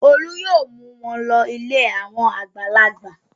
Olú yóò mú wọn lọ ilé àwọn àgbàlagbà.